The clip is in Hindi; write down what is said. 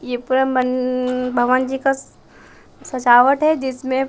ये पूरा मं भगवान जी का सजावट जिसमें --